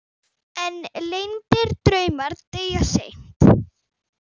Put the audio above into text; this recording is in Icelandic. En leyndir draumar deyja seint.